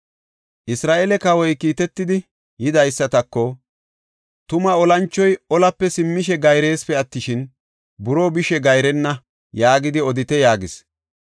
Isra7eele kawoy kiitetidi yidaysatako, “ ‘Tuma olanchoy olape simmishe gayresipe attishin, buroo bishe gayrenna’ yaagidi odite” yaagis.